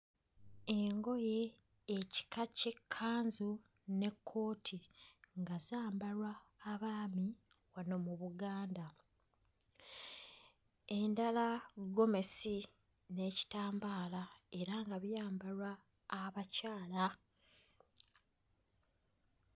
Engoye ekika ky'ekkanzu n'ekkooti nga zambalwa abaami wano mu Buganda. Endala ggomesi n'ekitambaala era nga byambalwa abakyala.